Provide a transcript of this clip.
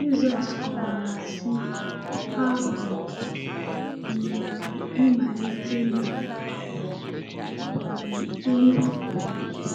Jizọs kọwara sị: “Abụ m um mgbilite na um ndụ.